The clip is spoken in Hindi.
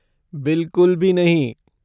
बिलकुल भी नहीं।